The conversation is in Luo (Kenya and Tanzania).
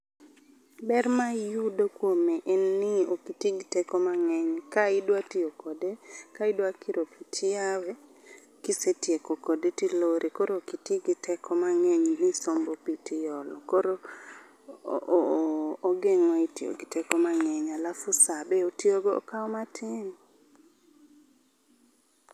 Ber ma iyudo kuome en ni ok iti gi teko mang'eny ka idwa tiyo kode ka idwa kiro pi tiyawe kisetieko kode tilore koro ok iti gi teko mang'eny ni isombo pi tiolo. Koro ogeng'o e tiyo gi teko mang'eny alafu sa be otiyo go okawo matin.